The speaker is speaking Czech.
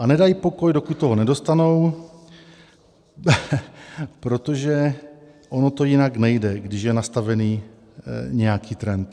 A nedají pokoj, dokud to nedostanou, protože ono to jinak nejde, když je nastavený nějaký trend.